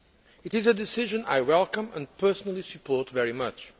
It is a decision I welcome and personally support very much.